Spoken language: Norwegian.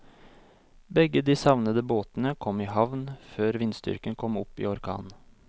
Begge de savnede båtene kom i havn før vindstyrken kom opp i orkan.